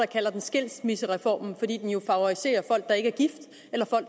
kalder den skilsmissereformen fordi den jo favoriserer folk der ikke er gift